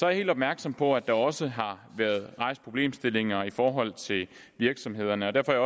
jeg helt opmærksom på at der også har været rejst problemstillinger i forhold til virksomhederne og derfor er